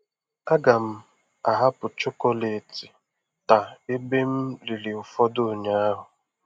A ga m ahapụ chọkọletị taa ebe m riri ụfọdụ ụnyaahụ.